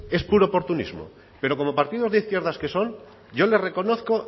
es puro oportunismo pero como partidos de izquierdas que son yo les reconozco